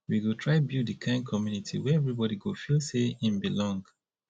we go try build di kind community wey everybodi go feel sey im belong